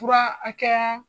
Fura hakɛya